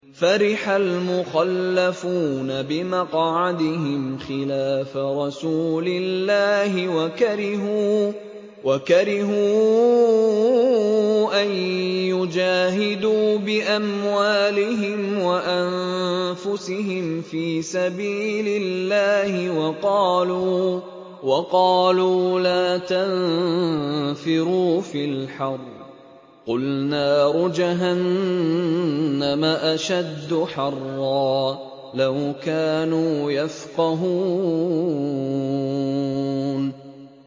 فَرِحَ الْمُخَلَّفُونَ بِمَقْعَدِهِمْ خِلَافَ رَسُولِ اللَّهِ وَكَرِهُوا أَن يُجَاهِدُوا بِأَمْوَالِهِمْ وَأَنفُسِهِمْ فِي سَبِيلِ اللَّهِ وَقَالُوا لَا تَنفِرُوا فِي الْحَرِّ ۗ قُلْ نَارُ جَهَنَّمَ أَشَدُّ حَرًّا ۚ لَّوْ كَانُوا يَفْقَهُونَ